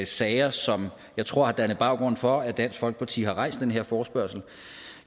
sager som jeg tror har dannet baggrund for at dansk folkeparti har rejst den her forespørgsel